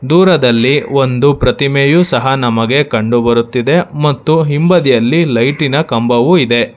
ದೂರದಲ್ಲಿ ಒಂದು ಪ್ರತಿಮೆಯೂ ಸಹ ನಮಗೆ ಕಂಡು ಬರುತ್ತಿದೆ ಮತ್ತು ಹಿಂಬದಿಯಲ್ಲಿ ಲೈಟಿನ ಕಂಬವು ಇದೆ.